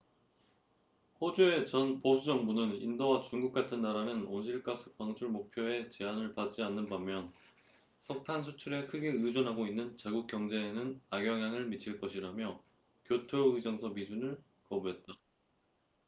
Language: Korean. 호주의 전 보수 정부는 인도와 중국 같은 나라는 온실 가스 방출 목표에 제한을 받지 않는 반면 석탄 수출에 크게 의존하고 있는 자국 경제에는 악영향을 미칠 것이라며 교토 의정서 비준을 거부했다